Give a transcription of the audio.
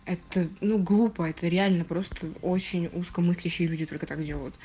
это ну глупо это реально просто очень узко мыслящие люди только так делают